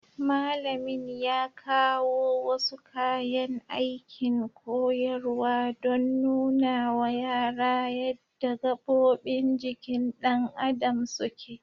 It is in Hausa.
Malamin ya kawo wasu kayan aikin koyarwa don nunawa yara yadda gabobin jikin ɗan adam suke.